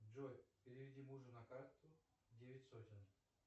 джой переведи мужу на карту девять сотен